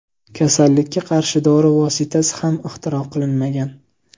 Kasallikka qarshi dori vositasi ham ixtiro qilinmagan.